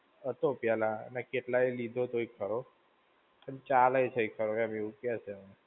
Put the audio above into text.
હતો પહેલા અને કેટલાયે લીધો તોય ખરો, અને ચાલે છેય ખરો એમ એવું કેય છે.